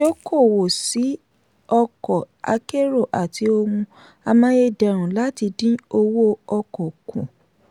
dókòwò sí ọkọ̀ akérò àti ohun amáyédẹrùn láti dín owó ọkọ̀ kù.